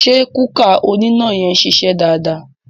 Ṣé kúkà oníná yẹn ṣiṣẹ́ dáadáa?